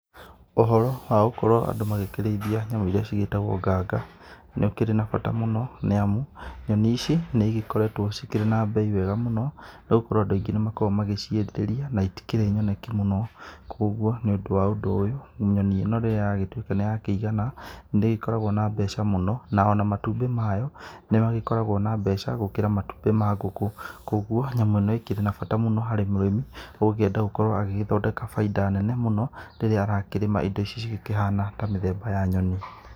Ũhoro wa gũkorwo andũ magĩkĩrĩithia nyamũ iria cigĩtagwo nganga, nĩ ũkĩrĩ na bata mũno nĩ amu, nyoni ici nĩ igĩkoretwo cikĩrĩ na bei wega mũno nĩ gũkorwo andũ aingĩ nĩ makoragwo magĩciĩrirĩria na itikĩrĩ nyoneki mũno. Kũguo nĩ ũndũ wa ũndũ ũyũ nyoni ĩno rĩrĩa yagĩtuĩka nĩ yakĩigana nĩ ĩgĩkoragwo na mbeca mũno, na o na matumbĩ mayo, nĩ magĩkoragwo na mbeca gũkĩra matumbĩ ma ngũkũ. Koguo nyamũ ĩno ĩkĩrĩ na bata harĩ mũrĩmi, ũgũkĩenda gũkorwo agĩgĩthondeka bainda nene mũno rĩrĩa akĩrĩma indo ici cigĩkĩhana ta mĩthemba ya nyoni.